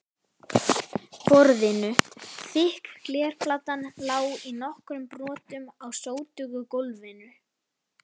borðinu, þykk glerplatan lá í nokkrum brotum á sótugu gólfinu.